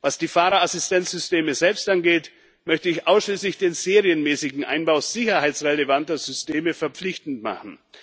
Was die Fahrerassistenzsysteme selbst angeht, möchte ich ausschließlich den serienmäßigen Einbau sicherheitsrelevanter Systeme verpflichtend machen.